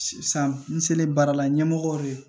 San n selen baara la ɲɛmɔgɔ ye